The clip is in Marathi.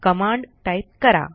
कमांड टाईप करा